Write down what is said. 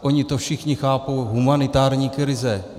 Oni to všichni chápou - humanitární krize.